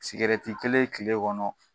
Sɛrɛti kelen tile kɔnɔ